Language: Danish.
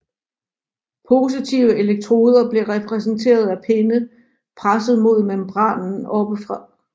Positive elektroder blev repræsenteret af pinde presset mod membranen oppefra